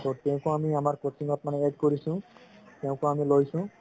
ত তেওঁকো মানে আমি আমাৰ coaching ত add কৰিছো তেওঁকো আমি লৈছো